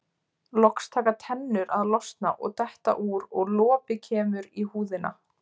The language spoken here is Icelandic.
Loks taka tennur að losna og detta úr og lopi kemur í húðina.